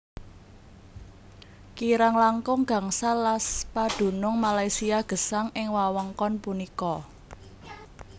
Kirang langkung gangsal las padunung Malaysia gesang ing wewengkon punika